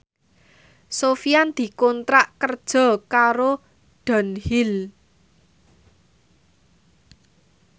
Sofyan dikontrak kerja karo Dunhill